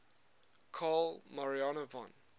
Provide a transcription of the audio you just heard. carl maria von